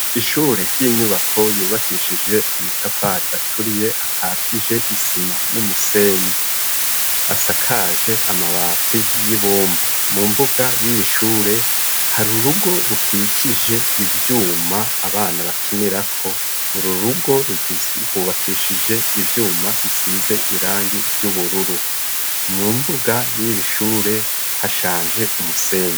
Ishure ry'inyubako yubakishije amatafari aturiye, akatije isima n'umusenyi, asakaje amabati y'ibumba mu mbuga y'iyishure hari urugo Ruquier ivyuma abana bakinira ko ,uru rugo rwubakishije ivyuma bisize irangi ry'ubururu, mu mbuga y'irishure hashanje umusenyi.